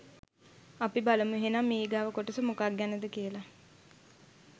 අපි බලමු එහෙනම් ඊගාව කොටස මොකක් ගැනද කියලා